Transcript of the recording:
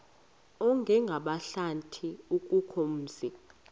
ongenabuhlanti akukho mzi